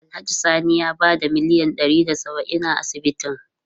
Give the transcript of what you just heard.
Alhaji Sani ya bada miliyan ɗari da saba'in a asibitin.